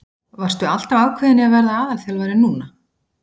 Varstu alltaf ákveðinn í að verða aðalþjálfari núna?